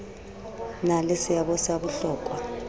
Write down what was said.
na le seabo sa bohlokwa